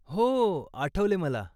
हो, आठवले मला.